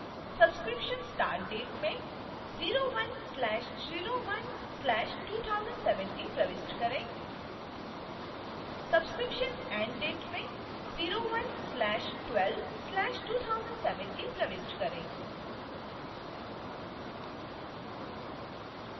subscription start date में 01/01/2017 प्रविष्ट करें